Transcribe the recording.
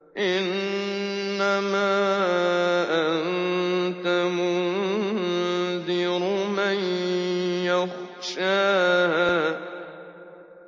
إِنَّمَا أَنتَ مُنذِرُ مَن يَخْشَاهَا